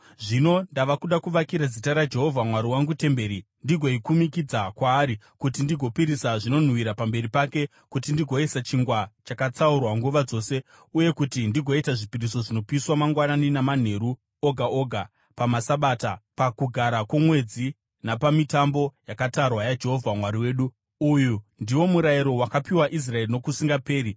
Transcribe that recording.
Zvino ndava kuda kuvakira Zita raJehovha Mwari wangu temberi ndigoikumikidza kwaari kuti ndigopisira zvinonhuhwira pamberi pake, kuti ndigoisa chingwa chakatsaurwa nguva dzose uye kuti ndigoita zvipiriso zvinopiswa mangwanani namanheru oga oga, pamaSabata, paKugara kwoMwedzi napamitambo yakatarwa yaJehovha Mwari wedu. Uyu ndiwo murayiro wakapiwa Israeri nokusingaperi.